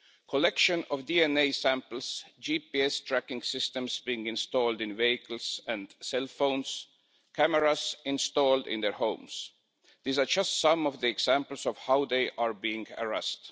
Collection of DNA samples, GPS tracking systems being installed in vehicles and cell phones, cameras installed in their homes these are just some of the examples of how they are being harassed.